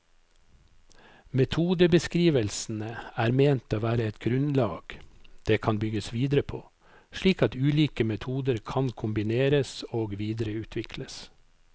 Metodebeskrivelsene er ment å være et grunnlag det kan bygges videre på, slik at ulike metoder kan kombineres og videreutvikles.